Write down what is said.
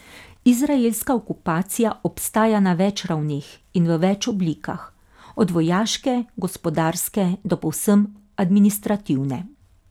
Izraelska okupacija obstaja na več ravneh in v več oblikah, od vojaške, gospodarske, do povsem administrativne.